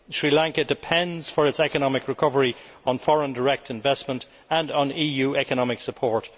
Sri Lanka depends for its economic recovery on foreign direct investment and on EU economic support.